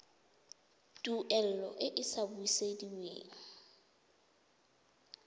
tuelo e e sa busediweng